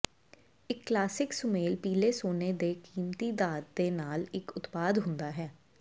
ਇੱਕ ਕਲਾਸਿਕ ਸੁਮੇਲ ਪੀਲੇ ਸੋਨਾ ਦੇ ਕੀਮਤੀ ਧਾਤ ਦੇ ਨਾਲ ਇੱਕ ਉਤਪਾਦ ਹੁੰਦਾ ਹੈ